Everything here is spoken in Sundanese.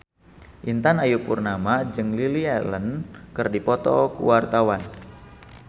Intan Ayu Purnama jeung Lily Allen keur dipoto ku wartawan